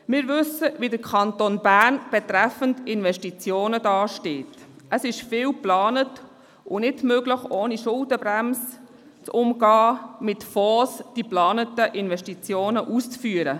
Wir wissen, wie der Kanton Bern betreffend Investitionen dasteht: Vieles ist geplant, aber es ist nicht möglich, die geplanten Investitionen auszuführen, ohne die Schuldenbremse mit Fonds zu umgehen.